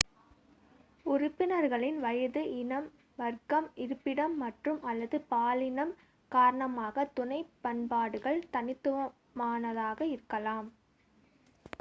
உறுப்பினர்களின் வயது இனம் வர்க்கம் இருப்பிடம் மற்றும்/அல்லது பாலினம் காரணமாகத் துணை பண்பாடுகள் தனித்துவமானதாக இருக்கலாம்